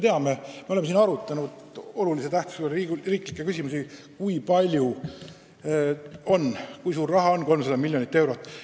Me oleme siin arutanud olulise tähtsusega riiklikke küsimusi ja me teame, kui suur raha on 300 miljonit eurot.